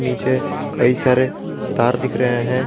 नीचे कई सारे तार दिख रहे हैं।